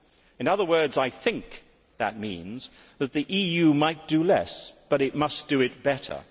In other words, I think that means that the EU might do less, but it must do it better.